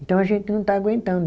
Então a gente não está aguentando.